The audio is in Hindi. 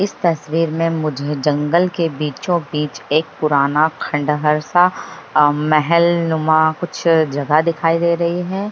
इस तस्वीर में मुझे जंगल के बीचो-बीच एक पुराण खंडहर सा महलनुमा कुछ जगह दिखाई दे रही है।